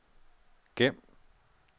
gem